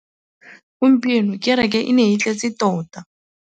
Gompieno kêrêkê e ne e tletse tota.